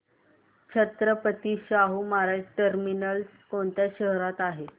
Chhatrapati Shahu Maharaj terminus कोणत्या शहरात आहे